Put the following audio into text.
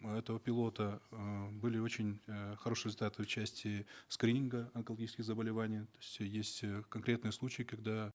этого пилота э были очень э хорошие результаты в части скрининга онкологических заболеваний то есть есть э конкретные случаи когда